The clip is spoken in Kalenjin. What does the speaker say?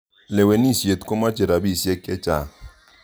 Lewenisiet komoche rapisyek che chang'.